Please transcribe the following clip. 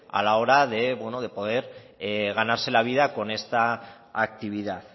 a la hora de bueno de poder ganarse la vida con esta actividad